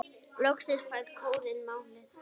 Loksins fær kórinn málið.